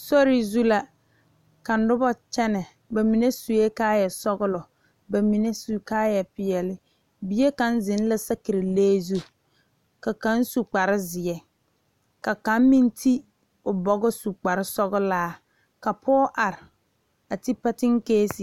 Sori zu la ka noba kyɛne bamine suɛ kaaya sɔglɔ bamine su kaaya peɛle bie kaŋ zeŋ la saakere lee zu ka kaŋ su kpare ziɛ ka kaŋ meŋ ti o bogɔ su kpare sɔglaa pɔge are a ti pasinkasi.